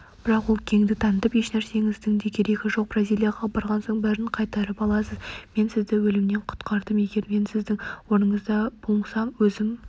бірақ ол кеңдік танытып ешнәрсеңіздің де керегі жоқ бразилияға барған соң бәрін қайтарып аласыз мен сізді өлімнен құтқардым егер мен сіздің орныңызда болсам өзім